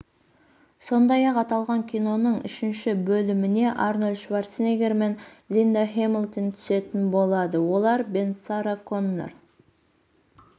сондай-ақ аталған киноның үшінші бөліміне арнольд шварценеггер мен линда хэмилтон түсетін болады олар бен сара коннор